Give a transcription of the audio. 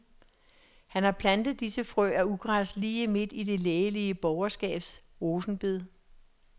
Han har plantet disse frø af ugræs lige midt i det lægelige borgerskabs rosenbed.